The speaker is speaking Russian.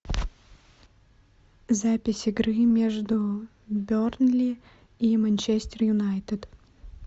запись игры между бернли и манчестер юнайтед